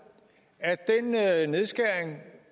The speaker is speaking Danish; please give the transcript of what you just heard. er